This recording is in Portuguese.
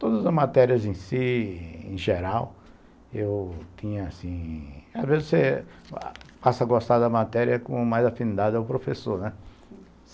Todas as matérias em si, em geral, eu tinha assim... Às vezes você passa a gostar da matéria com mais afinidade ao professor, né?